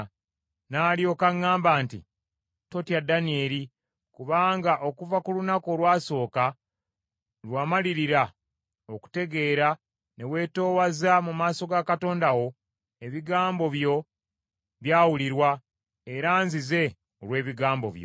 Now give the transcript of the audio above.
N’alyoka aŋŋamba nti, “Totya Danyeri, kubanga okuva ku lunaku olwasooka lwe wamalirira okutegeera ne weetoowaza mu maaso ga Katonda wo, ebigambo byo byawulirwa, era nzize olw’ebigambo byo.